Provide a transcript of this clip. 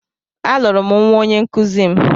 A lụrụ m nwa onyenkụzi m.